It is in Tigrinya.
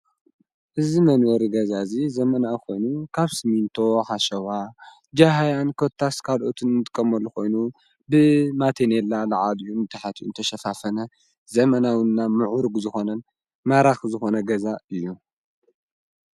እዚ መንበሪ ገዛ እዙይ ዘመናዊ ኾይኑ ካብ ስሚንቶ ሓሸዋ ፣ ጃህያን ኮታስ ካልኦትን ንጥቀመሉ ኾይኑ ብማቴኔላ ላዕላዩን ታሕታዩን ዝተሸፋፈነ ዘመናውና ምዑርግ ዝኾነን ማራኺ ዝኾነ ገዛ እዩ።